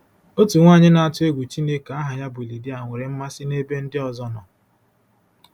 Otu nwaanyị na-atụ egwu Chineke aha ya bụ Lidia nwere mmasị n’ebe ndị ọzọ nọ